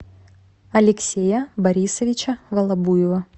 алексея борисовича волобуева